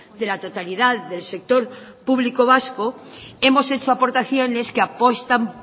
de la totalidad del sector público vasco hemos hecho aportaciones que apuestan